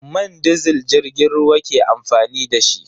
Man disil jirgin ruwa ke amfani da.